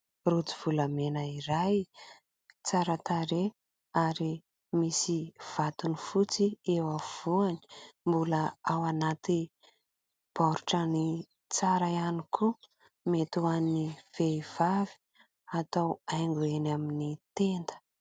Rojo volamena iray tsara tarehy, ary misy vatony fotsy eo afovoany. Mbola ao anaty baoritrany tsara ihany koa. Mety ho an'ny vehivavy, atao haingo eny amin'ny tenda.